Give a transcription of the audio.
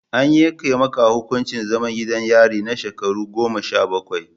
An yanke maka hukuncin zaman gidan yari na shekaru goma sha bakwai.